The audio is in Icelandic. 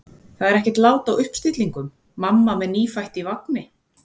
Það er ekkert lát á uppstillingum: mamma með nýfætt í vagni.